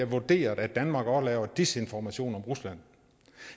vurderede at danmark laver misinformation om rusland